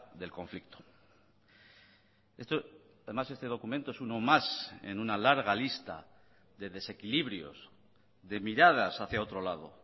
del conflicto además este documento es uno más en una larga lista de desequilibrios de miradas hacia otro lado